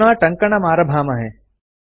अधुना टङ्कणमारभामहे